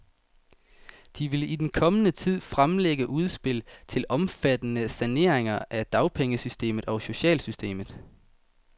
De vil i den kommende tid fremlægge udspil til omfattende saneringer af dagpengesystemet og socialsystemet.